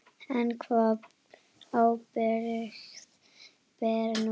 En hvaða ábyrgð ber hún?